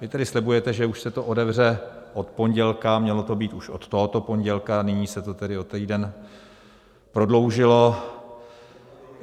Vy tady slibujete, že už se to otevře od pondělka, mělo to být už od tohoto pondělka, nyní se to tedy o týden prodloužilo.